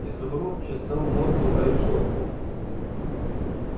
изумруд чесал морду о решётку